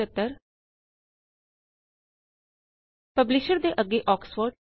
publisher ਦੇ ਅੱਗੇ Oxford